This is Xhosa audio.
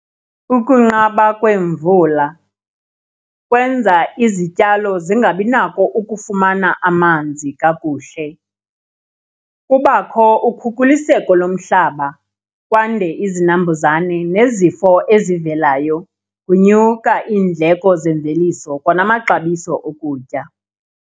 Ukunqaba kwemvula kwenza izityalo zingabi nako ukufumana amanzi kakuhle. Kubakho ukhukuliseko lomhlaba kwande izinambuzane nezifo ezivelayo, kunyuka iindleko zemveliso kwanamaxabiso okutya.